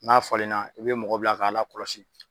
N'a falen na, u be mɔgɔ bila k'a la kɔlɔsi.